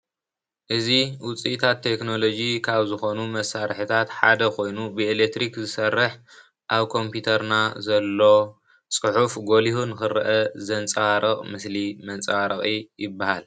እዚ ዉፅኢታት ቴክኖሎጂ ካብ ዝኾኑ መሳርሕታት ሓደ ኮይኑ ብኤሌክትሪክ ዝሰርሕ ኣብ ኮምፒዩተርና ዘሎ ፅሑፍ ጎሊሁ ንክርአ ዘንፀባርቕ ምስሊ መንፀባረቒ ይብሃል።